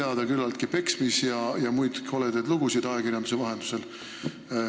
Ajakirjanduse vahendusel on ju teada, et on esinenud peksmisi ja muid koledaid lugusid.